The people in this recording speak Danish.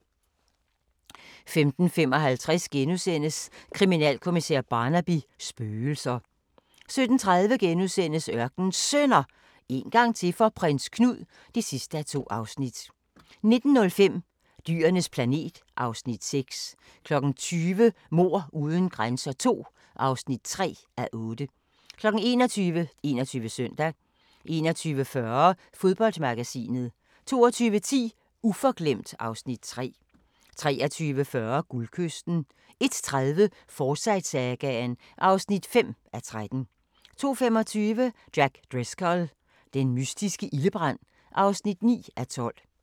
15:55: Kriminalkommissær Barnaby: Spøgelser * 17:30: Ørkenens Sønner – en gang til for Prins Knud (2:2)* 19:05: Dyrenes planet (Afs. 6) 20:00: Mord uden grænser II (3:8) 21:00: 21 Søndag 21:40: Fodboldmagasinet 22:10: Uforglemt (Afs. 3) 23:40: Guldkysten 01:30: Forsyte-sagaen (5:13) 02:25: Jack Driscoll – den mystiske ildebrand (9:12)